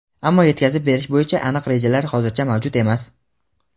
ammo yetkazib berish bo‘yicha aniq rejalar hozircha mavjud emas.